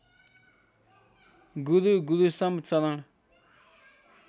गुरू गुरूसम चरण